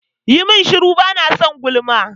Yi mun shuru! bana son gulma.